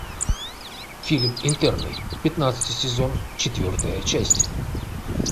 фильм интерны пятнадцатый сезон четвертая часть